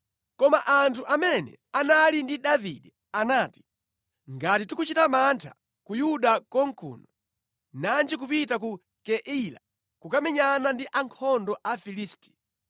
Koma anthu amene anali ndi Davide anati, “Ngati tikuchita mantha ku Yuda konkuno, nanji kupita ku Keila kukamenyana ndi ankhondo a Afilisti!”